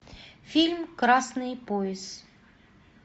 фильм красный пояс